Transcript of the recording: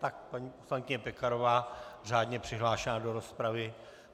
Tak paní poslankyně Pekarová, řádně přihlášená do rozpravy.